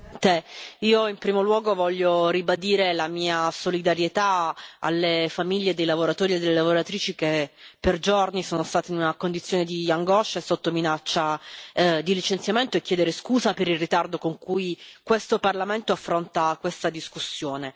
Signora Presidente, onorevoli colleghi, in primo luogo voglio ribadire la mia solidarietà alle famiglie dei lavoratori e delle lavoratrici che per giorni sono stati in una condizione di angoscia e sotto minaccia di licenziamento, e chiedere scusa per il ritardo con cui questo Parlamento affronta questa discussione.